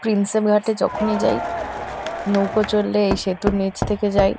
Prinsep ঘাটে যখনই যাই নৌকো চড়লে এই সেতুর নীচ থেকে যাই।